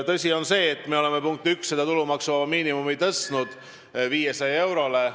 Tõsi on see, et me oleme tulumaksuvaba miinimumi tõstnud 500 euroni.